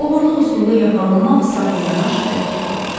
Oğurluq üstündə yaxalanmaq sadəcə yəna şərəf gətirmir.